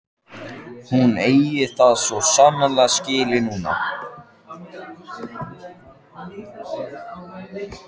Hún eigi það svo sannarlega skilið núna.